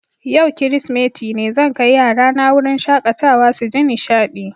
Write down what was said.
Yau kiristimeti ne, zan kai yarana wurin shakatawa su ji nishaɗi.